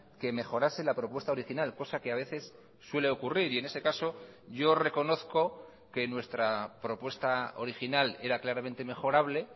que mejorase la propuesta original cosa que a veces suele ocurrir y en ese caso yo reconozco que nuestra propuesta original era claramente mejorable